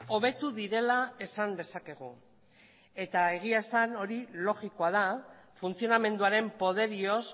hobetu direla esan dezakegu eta egia esan hori logikoa da funtzionamenduaren poderioz